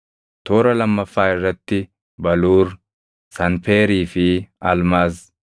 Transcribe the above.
toora lammaffaa irratti baluur, sanpeerii fi almaaz,